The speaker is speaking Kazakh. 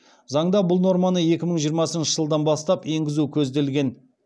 заңда бұл норманы екі мың жиырмасыншы жылдан бастап енгізу көзделген